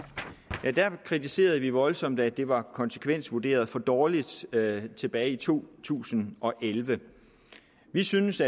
kritiserede voldsomt at det var konsekvensvurderet for dårligt tilbage tilbage i to tusind og elleve vi syntes